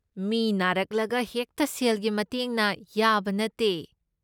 ꯃꯤ ꯅꯥꯔꯛꯂꯒ ꯍꯦꯛꯇ ꯁꯦꯜꯒꯤ ꯃꯇꯦꯡꯅ ꯌꯥꯕ ꯅꯠꯇꯦ꯫